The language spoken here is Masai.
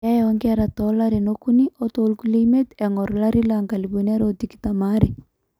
keeya oonkera toolarin okuni o toorkulie imiet eng'or 2022